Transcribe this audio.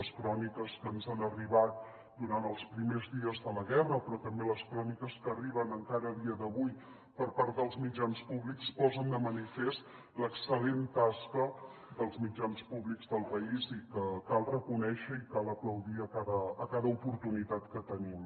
les cròniques que ens han arribat durant els primers dies de la guerra però també les cròniques que arriben encara a dia d’avui per part dels mitjans públics posen de manifest l’excel·lent tasca dels mitjans públics del país que cal reconèixer i cal aplaudir a cada oportunitat que en tenim